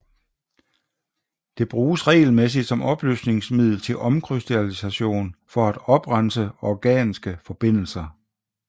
Det bruges regelmæssigt som opløsningsmiddel til omkrystallisation for at oprense organiske forbindelser